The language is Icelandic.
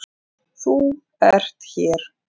ÞÚ ERT hér.